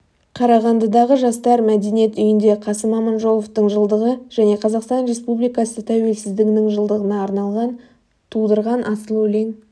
қарағандыдағы жастар мәдениет үйінде қасым аманжоловтың жылдығы және қазақстан республикасы тәуелсіздігінің жылдығына арналған тудырған асыл өлең